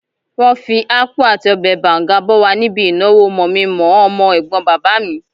Wọ́n fí ápú àti ọbẹ̀ bàùngá bọ́ wa níbí ìnáwó mọ̀-mi-mọ̀-ọ́ ọmọ-ẹ̀gbọ́n bàbá mi